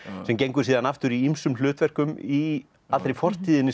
sem gengur siðan aftur í ýmsum hlutverkum í allri fortíðinni